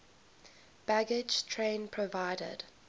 baggage train provided